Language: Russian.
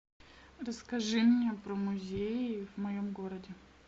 расскажи мне про музеи в моем городе